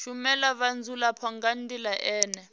shumela vhadzulapo nga ndila ine